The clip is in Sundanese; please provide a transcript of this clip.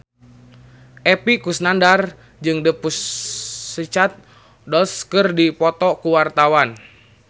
Epy Kusnandar jeung The Pussycat Dolls keur dipoto ku wartawan